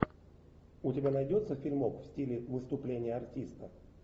у тебя найдется фильмок в стиле выступления артиста